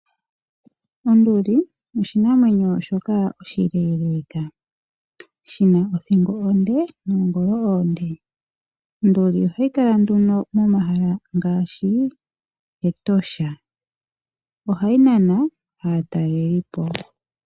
Onduli oshinamwenyo shoka oshileeleeka shina othingo onde noongolo oonde . Ondulibohayi kala nduno momahala ngaashi Etosha. Ohayi nana aatalelipo.